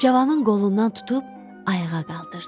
Cavanın qolundan tutub ayağa qaldırdı.